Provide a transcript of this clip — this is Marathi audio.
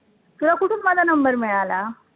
तुला कुठून माझा Number मिळाला.